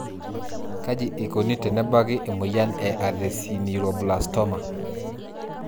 Kaji eikoni tenebaki emoyian e esthesioneuroblastoma?